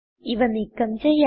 ഇവ നീക്കം ചെയ്യാം